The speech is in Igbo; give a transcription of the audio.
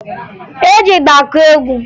E ji ịgba akụ egwu